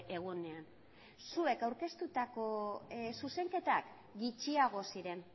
egunean zuek aurkeztutako zuzenketak gutxiago ziren